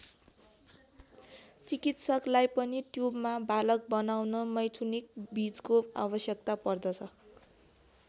चिकित्सकलाई पनि ट्युबमा बालक बनाउन मैथुनिक बीजको आवश्यकता पर्दछ।